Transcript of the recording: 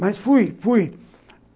Mas fui, fui.